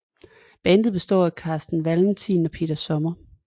Bandet består af Carsten Valentin og Peter Sommer